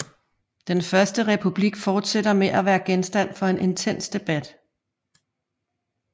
Den første republik fortsætter med at være genstand for en intens debat